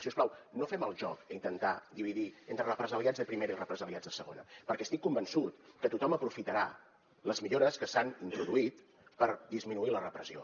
si us plau no fem el joc d’intentar dividir entre represaliats de primera i represaliats de segona perquè estic convençut que tothom aprofitarà les millores que s’han introduït per disminuir la repressió